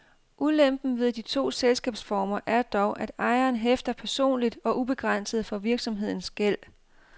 Ulempen ved de to selskabsformer er dog, at ejeren hæfter personligt og ubegrænset for virksomhedens gæld.